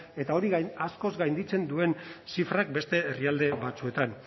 eta hori askoz gainditzen duen zifrak beste herrialde batzuetan